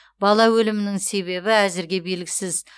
бала өлімінің себебі әзірге белгісіз